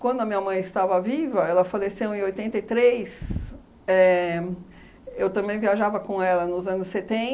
Quando a minha mãe estava viva, ela faleceu em oitenta e três éh, eu também viajava com ela nos anos